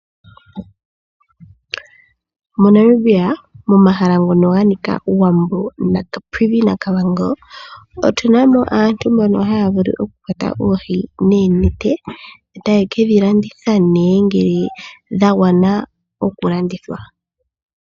MoNamibia momahala ngono ganika owambo maCaprivi naaKavango otuna mo aantu mbono haya vulu oku kwata oohi noonete etaye kedhi landitha ne ngele dha gwana oku landithwa.